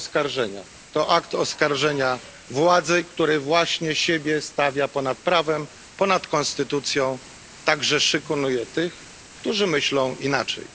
sprawozdanie to akt oskarżenia władzy, która właśnie siebie stawia ponad prawem, ponad konstytucją, a także szykanuje tych, którzy myślą inaczej.